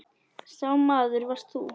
Sá maður varst þú.